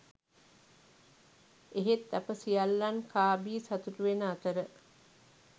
එහෙත් අප සියල්ලන් කා බී සතුුටු වෙන අතර